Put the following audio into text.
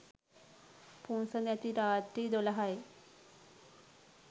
පුන්සඳ ඇති රාත්‍රී දොළහයි.